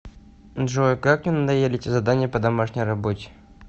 джой как мне надоели эти задания по домашней работе